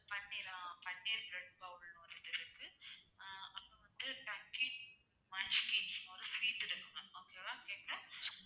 பன்னீர் ஆஹ் paneer bread bowl னு ஒரு இது இருக்கு ஆஹ் அப்பறம் வந்து டக்கிஸ் னு ஒரு sweet இருக்கு ma'am okay வா கேக்குதா